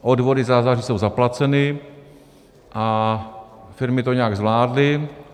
Odvody za září jsou zaplaceny a firmy to nějak zvládly.